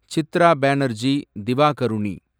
Chitra Banerjee Divakaruni